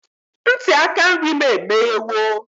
Ntị aka nri m emeghewo.